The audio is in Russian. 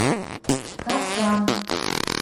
кашан